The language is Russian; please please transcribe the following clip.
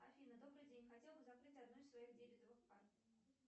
афина добрый день хотела бы закрыть одну из своих дебетовых карт